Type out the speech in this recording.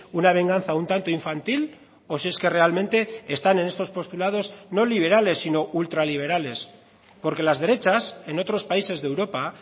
una venganza un tanto infantil o si es que realmente están en estos postulados no liberales sino ultraliberales porque las derechas en otros países de europa